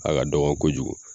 Aga dɔgɔ kojugu